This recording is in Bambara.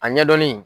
A ɲɛdɔnni